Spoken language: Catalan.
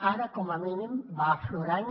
ara com a mínim va aflorant